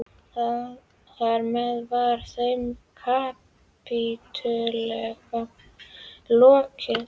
Þar með var þeim kapítula lokið.